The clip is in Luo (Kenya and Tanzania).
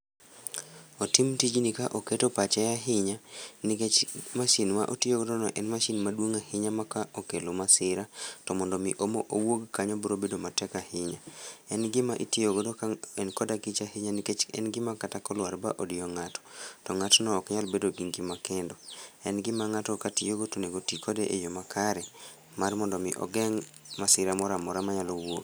Otim tijni ka keto pache ahinya nikech mashin ma otiyo godo no en mashin maduong' ahinya ma kokelo masira to mondo mi owuog kanyo biro bedo matek ahinya. En gima itiyo godo ka en kod akicha ahinya nikech en gima kata kolwar ma odiyo ng'ato to ng'atno ok nyal bedo gi ngima kendo. En gima ng'ato katiyo go to onego otii kode e yoo makare mar mondo omi ogeng' masira moro amora manyalo wuok